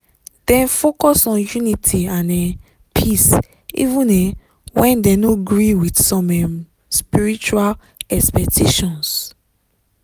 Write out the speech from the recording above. dem focus on unity and um peace even um when dem no gree with some um spiritual expectations.